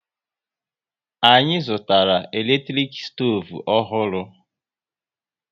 Anyị zụtara eletrik stoovu ọhụrụ